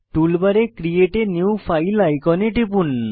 টুলবারে create a new file আইকনে টিপুন